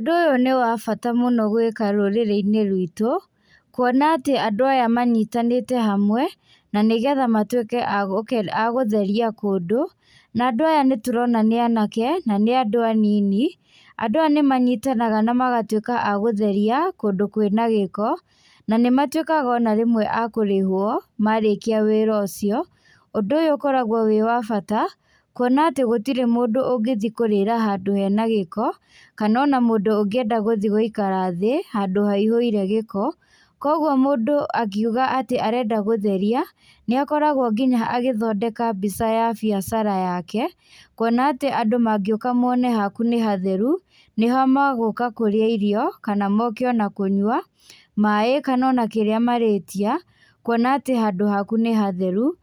Ũndũ ũyũ nĩwa bata mũno gwĩka rũrĩrĩ-inĩ rwitũ, kuona atĩ, andũ aya manyitanĩte hamwe, na nĩgetha matwĩke a gũtheria kũndũ. Na nadũ aya nĩ tũrona nĩ anake, na nĩ andũ anini, andũ aya nĩ manyitanaga na magatwĩka a gũtheria kũndũ kwĩna gĩko, na nĩ matwĩkaga ona rĩmwe a kũrĩhwo, marĩkia wĩra ũcio, ũndũ ũyũ ũkoragwo wĩ wa bata, kuona atĩ gũtirĩ mũndũ ũngĩthii kũrĩra handũ hena gĩko, kana ona mũndũ ũngĩenda gũthii gũikara thĩĩ, handũ haihũire gĩko, koguo mũndũ angiuga atĩ arenda gũtheria, nĩ akoragwo nginya agĩthondeka mbica ya biacara yake, kuona atĩ andũ mangĩũka mone haku nĩ hatheru, nĩho magũka kũrĩa irio, kana moke ona kũnyua, maĩ kana ona kĩrĩa marĩtia, kuona atĩ handũ haku nĩ hatheru.